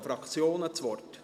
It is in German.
das Wort?